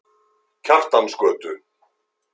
Kjartansgötu